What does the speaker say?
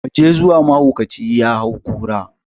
Mu je zuwa, mahaukaci ya hau kura!